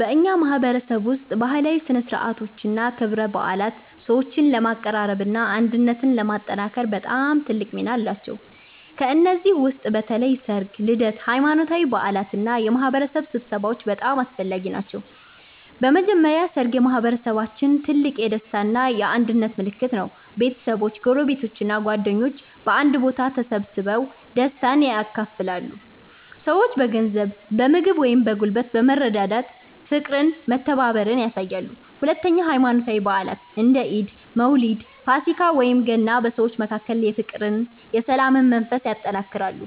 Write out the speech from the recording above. በእኛ ማህበረሰብ ውስጥ ባህላዊ ሥነ ሥርዓቶችና ክብረ በዓላት ሰዎችን ለማቀራረብና አንድነትን ለማጠናከር በጣም ትልቅ ሚና አላቸው። ከእነዚህ ውስጥ በተለይ ሠርግ፣ ልደት፣ ሃይማኖታዊ በዓላት እና የማህበረሰብ ስብሰባዎች በጣም አስፈላጊ ናቸው። በመጀመሪያ ሠርግ በማህበረሰባችን ትልቅ የደስታ እና የአንድነት ምልክት ነው። ቤተሰቦች፣ ጎረቤቶች እና ጓደኞች በአንድ ቦታ ተሰብስበው ደስታን ያካፍላሉ። ሰዎች በገንዘብ፣ በምግብ ወይም በጉልበት በመረዳዳት ፍቅርና መተባበርን ያሳያሉ። ሁለተኛ ሃይማኖታዊ በዓላት እንደ ኢድ፣ መውሊድ፣ ፋሲካ ወይም ገና በሰዎች መካከል የፍቅርና የሰላም መንፈስ ያጠናክራሉ።